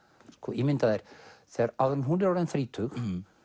ímyndaðu þér áður en hún er orðin þrítug